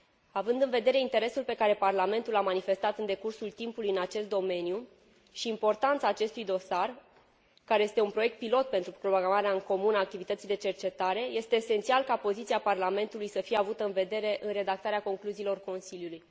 Având în vedere interesul pe care Parlamentul l a manifestat în decursul timpului în acest domeniu și importanța acestui dosar, care este un proiect pilot pentru programarea în comun a activității de cercetare, este esențial ca poziția Parlamentului să fie avută în vedere în redactarea concluziilor Consiliului.